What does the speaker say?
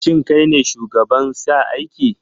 Shin kai ne shugaban sa aiki?